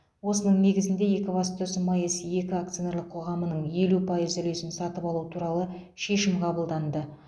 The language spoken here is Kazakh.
осының негізінде екібастұз маэс екі акционерлік қоғамының елу пайыз үлесін сатып алу туралы шешім қабылданды